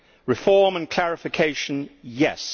Reform and clarification yes.